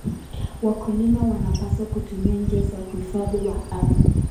Wakulima wanapaswa kutumia njia za uhifadhi wa ardhi.